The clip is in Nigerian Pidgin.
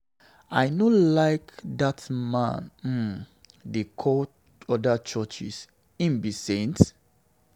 I no like how dat man um dey call other churches. Him be saint?